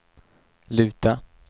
luta